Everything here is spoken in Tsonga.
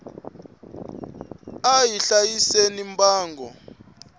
a hi hlayiseni mbango